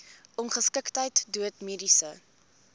ongeskiktheid dood mediese